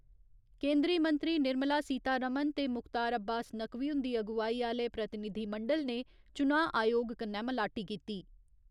केन्दरी मंत्री निर्मला सीता रमण ते मुख्तार अब्बास नकवी हुन्दी अगुआई आह्‌ले प्रतिनिधिमंडल ने चुनां आयोग कन्नै मलाटी कीती।